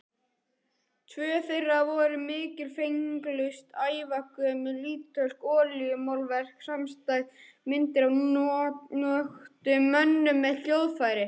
Tvö þeirra voru mikilfenglegust, ævagömul ítölsk olíumálverk samstæð, myndir af nöktum mönnum með hljóðfæri.